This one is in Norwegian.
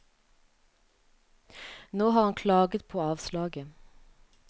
Nå har han klaget på avslaget.